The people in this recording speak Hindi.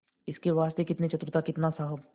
इसके वास्ते कितनी चतुरता कितना साहब